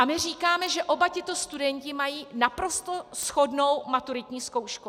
A my říkáme, že oba tito studenti mají naprosto shodnou maturitní zkoušku.